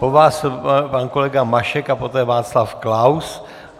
Po vás pan kolega Mašek a poté Václav Klaus.